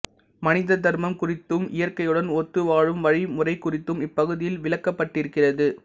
மனித தர்மம் குறித்தும் இயற்கையுடன் ஒத்து வாழும் வழி முறை குறித்தும் இப்பகுதியில் விளக்கப்பட்டிருக்கிறது